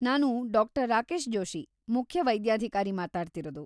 ನಾನು ಡಾ. ರಾಕೇಶ್‌ ಜೋಷಿ, ಮುಖ್ಯ ವೈದ್ಯಾಧಿಕಾರಿ ಮಾತಾಡ್ತಿರೋದು.